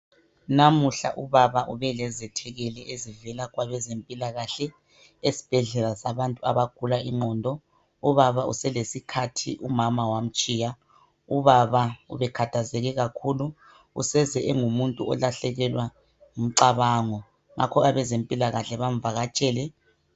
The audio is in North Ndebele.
Namuhla ubaba ubelezethekeli ezivela kwabezempilakahle esbhedlela sabantu abagula ingqondo ubaba uselesikhathi umama wamtshiya .Ubaba ubekhathazeke kakhulu useze engumuntu olahlekelwa ngu mcabango ngakho abezempilakahle bamvakatshele.